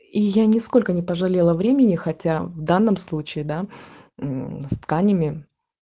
и я нисколько не пожалела времени хотя в данном случае да м с тканями